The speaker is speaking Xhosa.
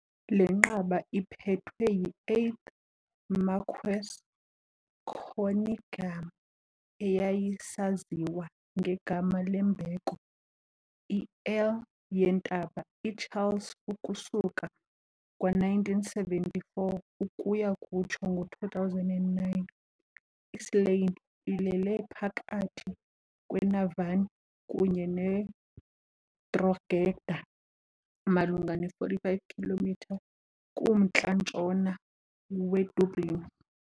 Le nqaba iphethwe yi -8th Marquess Conyngham, eyayisaziwa ngegama lembeko i- Earl yeNtaba iCharles ukusuka ngo-1974 ukuya kutsho ngo-2009. I-Slane ilele phakathi kweNavan kunye neDrogheda, malunga ne-45 km kumntla-ntshona weDublin.